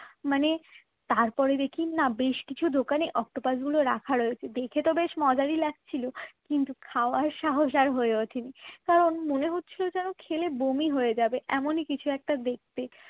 মানে তার পরে দেখি না বেশ কিছু দোকানে অক্টোপাস গুলো রাখা রয়েছে। দেখে তো বেশ মজারই লাগছিল কিন্তু খাওয়ার সাহস আর হয়ে ওঠেনি কারণ মনে হচ্ছিল যেন খেলে বমি হয়ে যাবে এমনই কিছু একটা দেখতে